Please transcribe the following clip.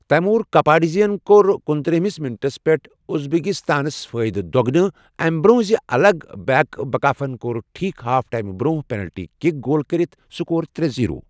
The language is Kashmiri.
تیمور کپاڈزے یَن کوٚر کُنترٕہمس منٹَس پیٹھ ازبکستانُک فٲیدٕ دۄگنہٕ، اَمہِ برٛۄنٛہہ زِ الگ بیک بکایفَن کوٚر ٹھیٖک ہاف ٹایم برٛونٛہہ پینلٹی کک گول کٔرِتھ سکور ترے زیِرو